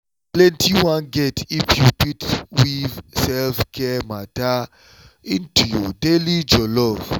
plenty wan get if you fit weave self-care matter into your daily jollof.